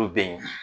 Olu bɛ ye